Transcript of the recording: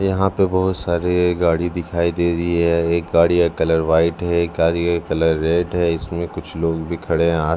यहाॅं पे बहोत सारे गाड़ी दिखाई दे रही है एक गाड़ी का कलर व्हाईट है एक गाड़ी का कलर रेड है इसमें कुछ लोग भी खड़े हैं आ--